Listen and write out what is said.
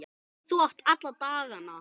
Þú átt alla dagana.